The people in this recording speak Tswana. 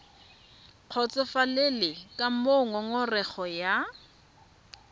kgotsofalele ka moo ngongorego ya